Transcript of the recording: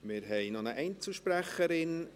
Wir haben noch eine Einzelsprecherin.